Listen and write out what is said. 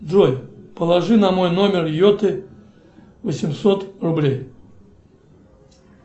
джой положи на мой номер йоты восемьсот рублей